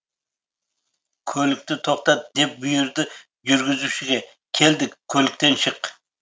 көлікті тоқтат деп бұйырды жүргізушіге келдік көліктен шық